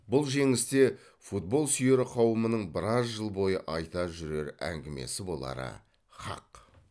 бұл жеңіс те футболсүйер қауымның біраз жыл бойы айта жүрер әңгімесі болары хақ